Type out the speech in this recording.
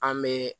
An bɛ